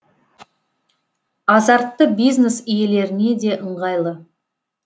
азартты бизнес иелеріне де ыңғайлы